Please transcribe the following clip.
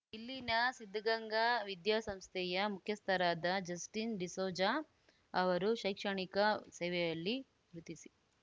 ಇಲ್ಲಿನ ಸಿದ್ಧಗಂಗಾ ವಿದ್ಯಾಸಂಸ್ಥೆಯ ಮುಖ್ಯಸ್ಥರಾದ ಜಸ್ಟಿನ್‌ ಡಿಸೋಜಾ ಅವರು ಶೈಕ್ಷಣಿಕ ಸೇವೆಯಲ್ಲಿ ಗುರುತಿಸಿ